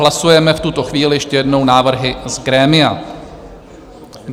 Hlasujeme v tuto chvíli - ještě jednou - návrhy z grémia.